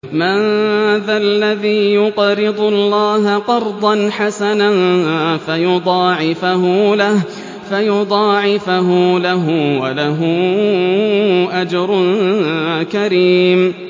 مَّن ذَا الَّذِي يُقْرِضُ اللَّهَ قَرْضًا حَسَنًا فَيُضَاعِفَهُ لَهُ وَلَهُ أَجْرٌ كَرِيمٌ